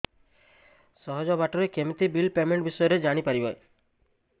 ସହଜ ବାଟ ରେ କେମିତି ବିଲ୍ ପେମେଣ୍ଟ ବିଷୟ ରେ ଜାଣି ପାରିବି